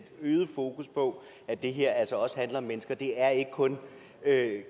øget fokus på at det her altså også handler om mennesker det er ikke kun